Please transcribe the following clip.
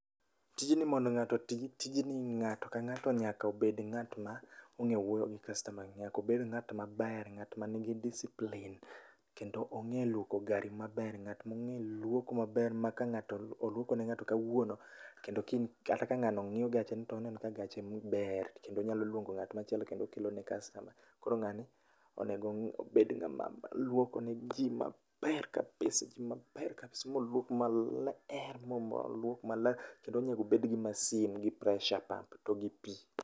Tijni mondo ng'ato otim tijni, ng'ato ka ng'ato nyaka obed ng'at ma ong'eyo wuoyo gi kastoma, nyaka obed ng'atma ber ngat manigi discipline kendo ong'e luoko gari maber.Ng'at monge luoko maber ma ka oluoko ne ng'ato kawuono kendo kiny kata ka ng'ano ng'iyo gacheni toneno ka gacheni ber kendo nyalo luongo ng'at machielo kendo luongo ne customers. Koro ngani owinjo obed ng'ama luoko ne jii maber kabisa, maber kabisa, moluok maler, moluok maler kendo onego obed gi masin gi pressure pump to gi pii